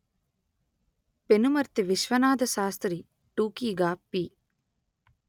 పెనుమర్తి విశ్వనాథశాస్త్రి టూకీగా పి